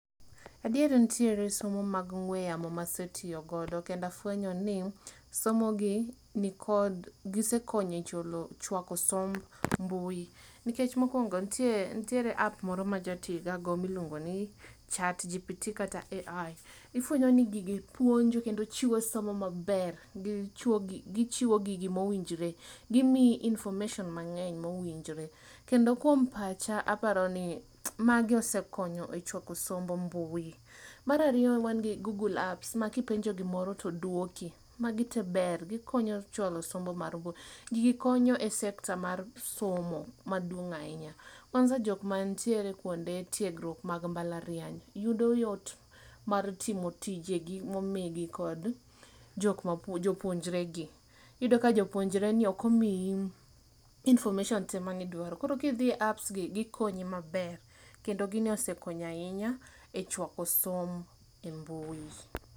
Adier nitiere somo mag ongwe yamo ma asetiyo go kendo afwenyo ni somo gi nikod, gisekonyo e chwako somb mbui nikech mokuongo nitie app moro maja tii ga go miluongo ni Chatgpt kata AI. Ifwenyo ni gigi puonjo kendo chiwo somo maber , gichiwo gigi mowinjore, gimiyi information mangeny mowinjore. Kendo kuom pacha aparoni magi osekonyo e chwako somb mbui. Mar ariyo wan gi google apps, makipenjo gimoro to duoki, magi tee ber, gikonyo chwalo somo mar mbui, gigi konyo e sekta mar somo maduong ahinya, kwanza jokma nitie kuonde tiegruk mag mbalariany, yudo yot mar timo tijegi momigi kod jokma puonjogi, jopuonjre gi ,iyudo ka jopuonjre ok omiyi information tee midwaro koro kidhiye apps gi gikonyi maber kendo gini osekonyo ahinya e chwako somb e mbui